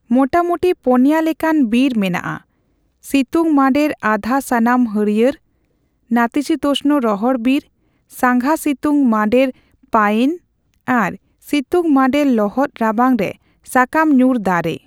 ᱢᱚᱴᱟᱢᱩᱴᱤ, ᱯᱚᱱᱭᱟᱹ ᱞᱮᱠᱟᱱ ᱵᱤᱨ ᱢᱮᱱᱟᱜᱼᱟ, ᱥᱤᱛᱩᱝ ᱢᱟᱸᱰᱮᱨ ᱟᱫᱷᱟᱼᱥᱟᱱᱟᱢ ᱦᱟᱹᱲᱭᱟᱹᱲ, ᱱᱟᱛᱤᱥᱤᱛᱳᱥᱱ ᱨᱚᱦᱚᱲ ᱵᱤᱨ, ᱥᱟᱸᱜᱷᱟ ᱥᱤᱛᱩᱝ ᱢᱟᱸᱰᱮᱨ ᱯᱟᱭᱱ ᱟᱨ ᱥᱤᱛᱩᱝ ᱢᱟᱸᱰᱮᱨ ᱞᱚᱦᱚᱫ ᱨᱟᱵᱟᱝ ᱨᱮ ᱥᱟᱠᱟᱢ ᱧᱩᱨ ᱫᱟᱨᱮ᱾